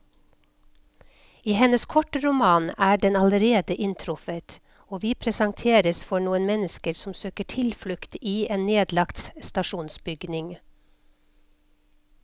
I hennes kortroman er den allerede inntruffet, og vi presenteres for noen mennesker som søker tilflukt i en nedlagt stasjonsbygning.